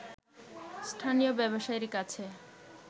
স্থানীয় ব্যবসায়ীর কাছে